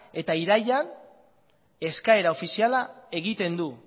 eta irailean eskaera ofiziala egiten du